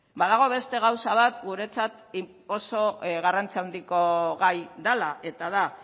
badago beste gauza bat guretzat oso garrantzi handiko gai dela eta da